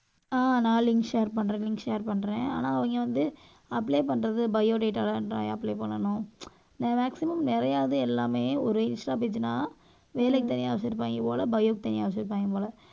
அஹ் நான் link share பண்றேன் link share பண்றேன். ஆனா அவங்க வந்து apply பண்றது bio data apply பண்ணணும் maximum நிறைய இது எல்லாமே ஒரு இன்ஸ்டா page னா வேலைக்கு தனியா வச்சிருப்பாங்க போல bio க்கு தனியா வச்சிருப்பாங்க போல